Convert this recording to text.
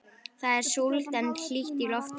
Það er súld en hlýtt í lofti.